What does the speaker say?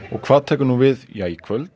hvað tekur við í kvöld